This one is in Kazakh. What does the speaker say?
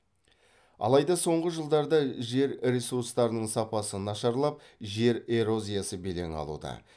алайда соңғы жылдарда жер ресурстарының сапасы нашарлап жер эрозиясы белең алуда